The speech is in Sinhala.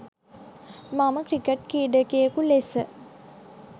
මම ක්‍රිකට් ක්‍රීඩකයකු ලෙස